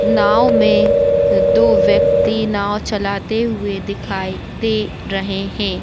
नाव में दो व्यक्ति नाव चालाते हुए दिखाई दे रहे हैं ।